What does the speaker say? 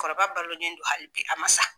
kɔrɔba balolen do hali bi a man sa.